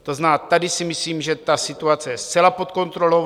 To znamená, tady si myslím, že ta situace je zcela pod kontrolou.